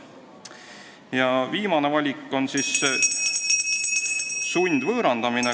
Ja viimane valik on sundvõõrandamine.